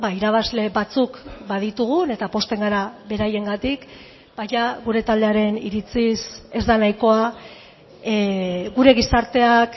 irabazle batzuk baditugun eta pozten gara beraiengatik baina gure taldearen iritziz ez da nahikoa gure gizarteak